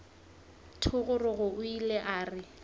thogorogo o ile a re